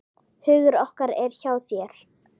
Hugur okkar er hjá þér.